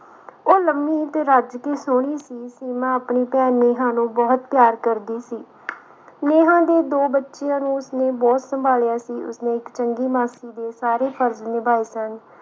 ਉਹ ਲੰਮੀ ਤੇ ਰੱਜ ਕੇ ਸੋਹਣੀ ਸੀ ਸੀਮਾ ਆਪਣੀ ਭੈਣ ਨੇਹਾ ਨੂੰ ਬਹੁਤ ਪਿਆਰ ਕਰਦੀ ਸੀ ਨੇਤਾ ਦੇ ਦੋ ਬੱਚਿਆਂ ਨੂੰ ਉਸਨੇ ਬਹੁਤ ਸੰਭਾਲਿਆ ਸੀ ਉਸਨੇ ਚੰਗੀ ਮਾਸੀ ਦੇ ਸਾਰੇ ਫਰਜ ਨਿਭਾਏ ਸਨ